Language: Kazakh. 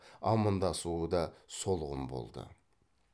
амандасуы да солғын болды